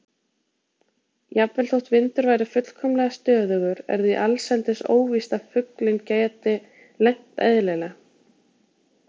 Jafnvel þótt vindur væri fullkomlega stöðugur er því allsendis óvíst að fuglinn geti lent eðlilega.